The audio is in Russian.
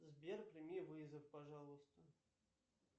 сбер прими вызов пожалуйста